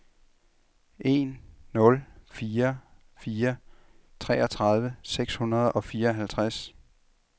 en nul fire fire treogtredive seks hundrede og fireoghalvtreds